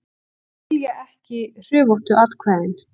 Skilja ekki hrufóttu atkvæðin